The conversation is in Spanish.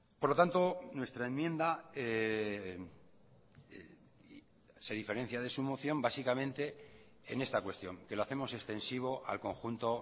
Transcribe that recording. por lo tanto nuestra enmienda se diferencia de su moción básicamente en esta cuestión que lo hacemos extensivo al conjunto